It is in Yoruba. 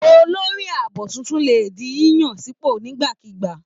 Olórí ààbò tuntun lè di yíyàn sípò nígbàkigbà.